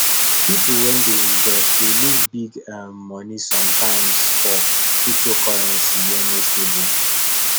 people wey dey invest dey loss big um money sometimes for cyptocurrency wey no stable